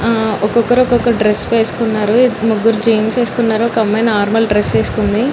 హ్హా వక వకరు వక డ్రెస్ వేసోకోనారు ముగ్గురు జీన్స్ వేసుకున్నారు ఒక అమ్మాయి నార్మల్ డ్రెస్ వేసుకుంది.